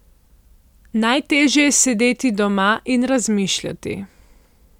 Najtežje je sedeti doma in razmišljati.